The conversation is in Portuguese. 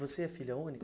Você é filha única?